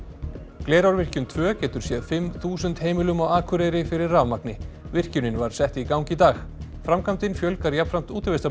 Glerárvirkjun tvö getur séð fimm þúsund heimilum á Akureyri fyrir rafmagni virkjunin var sett í gang í dag framkvæmdin fjölgar jafnframt